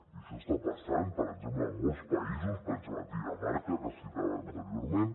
i això està passant en molts països per exemple a dinamarca que el citava anteriorment